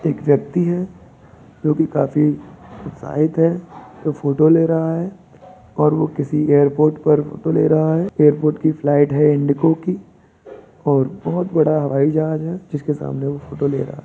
एक व्यक्ति है जो कि काफ़ी उत्साहित है जो फ़ोटो ले रहा है और वो किसी एयरपोर्ट पर फ़ोटो ले रहा है एयरपोर्ट की फ्लाइट है इंडिगो की और बहुत बड़ा हवाईजहाज है जिस के सामने वो फ़ोटो ले रहा है।